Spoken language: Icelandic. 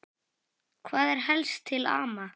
Hvað er helst til ama?